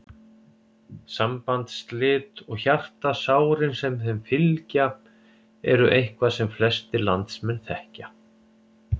Sambandsslit og hjartasárin sem þeim fylgja eru eitthvað sem flestir landsmenn þekkja.